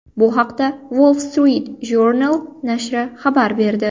Bu haqda Wall Street Journal nashri xabar berdi .